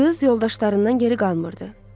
Qız yoldaşlarından geri qalmırdı.